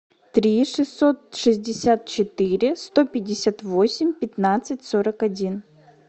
три шестьсот шестьдесят четыре сто пятьдесят восемь пятнадцать сорок один